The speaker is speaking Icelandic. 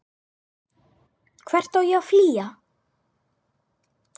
Hvert á ég að flýja?